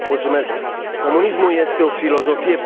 Comunismul este o filosofie perfidă.